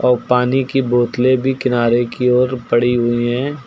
और पानी की बोतले भी किनारे की ओर पड़ी हुई है।